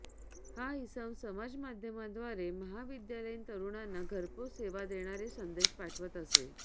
हा इसम समाजमाध्यमांद्वारे महाविद्यालयीन तरूणांना घरपोच सेवा देणारे संदेश पाठवत असे